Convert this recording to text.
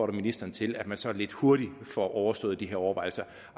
ministeren til at man så lidt hurtigt får overstået de her overvejelser